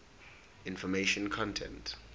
information content